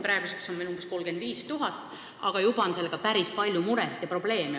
Praeguseks on minu meelest 35 000, aga juba on olnud sellega päris palju muresid ja probleeme.